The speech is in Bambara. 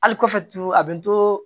Hali kɔfɛ turu a bɛ nto